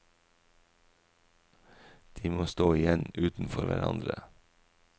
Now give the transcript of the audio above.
De må stå igjen utenfor hverandre.